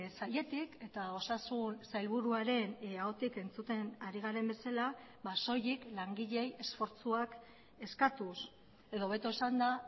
sailetik eta osasun sailburuaren ahotik entzuten ari garen bezala soilik langileei esfortzuak eskatuz edo hobeto esanda